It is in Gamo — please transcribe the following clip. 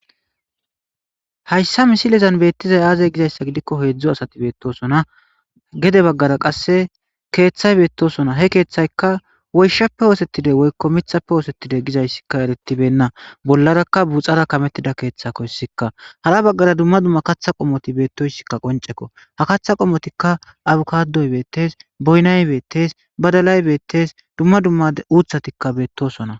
Haysa misilezan beetizay aaze gizaysa gidikoni hezdzdu asati betosona , gede bagara qase keethayi betosona, he keethayka woyshappe osetide woyko mithappe osetide gizaysika eretibeyna, bollaraka buuxara kametida keethako hesika , hara bagara dumma dumma katha qomoti betoysika qoncekko . Ha katha qomotika abokadoy betesi . Boyinayi beetes, badalay betes, dumma dumma uuthatika betosona.